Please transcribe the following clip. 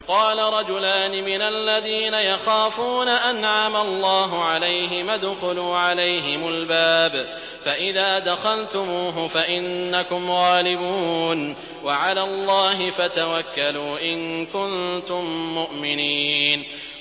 قَالَ رَجُلَانِ مِنَ الَّذِينَ يَخَافُونَ أَنْعَمَ اللَّهُ عَلَيْهِمَا ادْخُلُوا عَلَيْهِمُ الْبَابَ فَإِذَا دَخَلْتُمُوهُ فَإِنَّكُمْ غَالِبُونَ ۚ وَعَلَى اللَّهِ فَتَوَكَّلُوا إِن كُنتُم مُّؤْمِنِينَ